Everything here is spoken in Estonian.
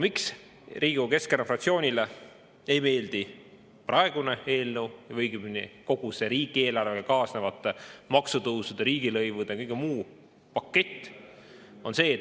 Miks Riigikogu Keskerakonna fraktsioonile ei meeldi praegune eelnõu või õigemini kogu see riigieelarvega kaasnevate maksutõusude, riigilõivude ja kõige muu pakett?